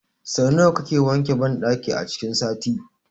Sau nawa kake wanke banɗakin a cikin sati?